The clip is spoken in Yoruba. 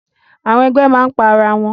Àwọn ẹgbẹ máa n pa ará wọn.